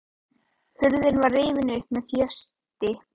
Hurðin var rifin upp með þjósti.